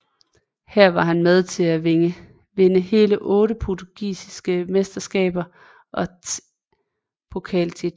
Her var han med til at vinde hele otte portugisiske mesteskaber og tr pokaltitler